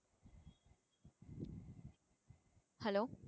hello